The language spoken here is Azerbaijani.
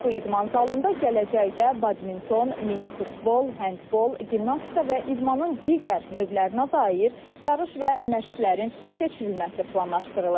Bu idman zalında gələcəkdə badminton, mini futbol, handbol, gimnastika və idmanın digər növlərinə dair yarış və məşqlərin keçirilməsi planlaşdırılır.